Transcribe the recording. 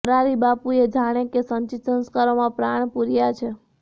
મોરારિબાપુએ જાણે કે એ સંચિત સંસ્કારોમાં પ્રાણ પૂર્યા છે